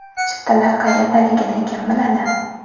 Chiptalar qayerdaligini kim biladi?